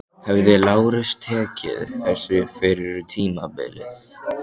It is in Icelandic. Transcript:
Hefði Lárus tekið þessu fyrir tímabilið?